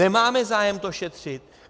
Nemáme zájem to šetřit?